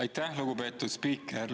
Aitäh, lugupeetud spiiker!